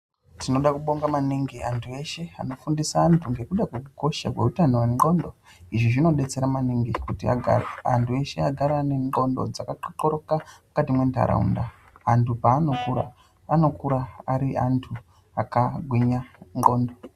Tinoda kubonga maningi antu eshe anofundisa antu ngekuda kwekukosha kweutano hwendxondo. Zvinodetsera maningi kuti antu eshe agare ane ndxondo dzakaxoxoroka mukati mwenharaunda. Antu paanokura anokura ari antu akagwinya mundxondo.